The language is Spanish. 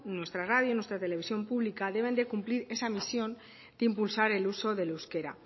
nuestra radio y nuestra televisión pública deben de cumplir esa misión de impulsar el uso del euskera